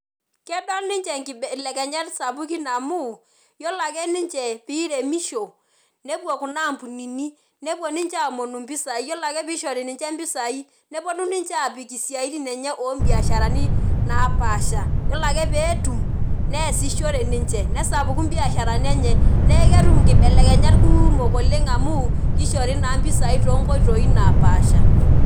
Kedol ninche nkibelekenyat sapukin amu yiolo ake ninche piremisho , nepuo kuna ampunini , nepuo ninche aomonu impisai , yiolo ake pishori ninche impisai , neponu ninche apik isiatin enye obiasharani napasha , yiolo ake peetum neesishore nesapuku imbiasharani enye, neeketum inkibelekenyat kumok amu kishori naa mpisai too nkoitoi naapasha.